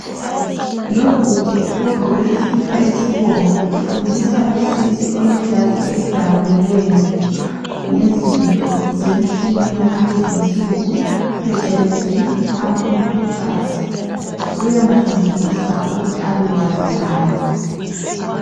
Lobhudi ogqoke isikipa esibomvu ufundisa losisi olejazi elidabukileyo ngezinto zemitshini yakulezinsuku phecelezi ama computers .Uyamfundisa ukuthi abewazi naye